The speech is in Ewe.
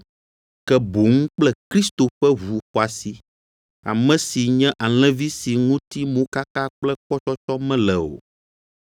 ke boŋ kple Kristo ƒe ʋu xɔasi, ame si nye alẽvi si ŋuti mokaka kple kpɔtsɔtsɔ mele o.